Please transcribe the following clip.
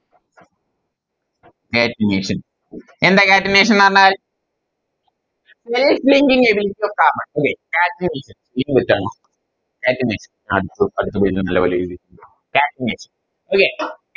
Catenation എന്താ Catenation ന്ന് പറഞ്ഞാൽ Self linking ability of carbon അല്ലെ Catenation catenation അഹ് അടുത്തത് level എഴുതി catenation അല്ലേ